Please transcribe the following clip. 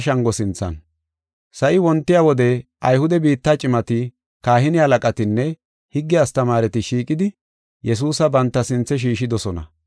Sa7i wontiya wode Ayhude biitta cimati, kahine halaqatinne higge astamaareti shiiqidi, Yesuusa banta sinthe shiishidosona.